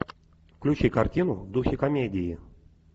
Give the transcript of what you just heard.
включи картину в духе комедии